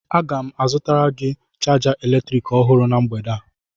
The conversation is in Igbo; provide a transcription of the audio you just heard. Aga m azụtara gị chaja eletrik ọhụrụ na mgbede a